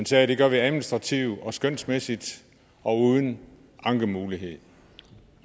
sagde det gør vi administrativt og skønsmæssigt og uden ankemulighed